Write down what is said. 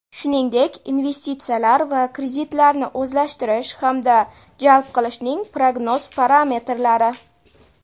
shuningdek investitsiyalar va kreditlarni o‘zlashtirish hamda jalb qilishning prognoz parametrlari;.